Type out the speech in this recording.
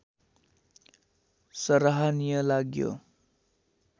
सराहनीय लाग्यो